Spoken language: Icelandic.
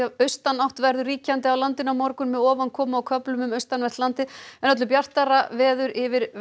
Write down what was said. austanátt verður ríkjandi á landinu á morgun með ofankomu á köflum um austanvert landið en öllu bjartara verður yfir